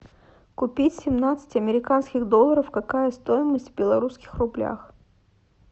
купить семнадцать американских долларов какая стоимость в белорусских рублях